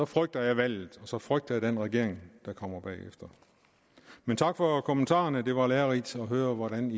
frygter jeg valget og så frygter jeg den regering der kommer bagefter men tak for kommentarerne det var lærerigt at høre hvordan